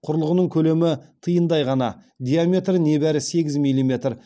құрылғының көлемі тиындай ғана диаметрі небәрі сегіз миллиметр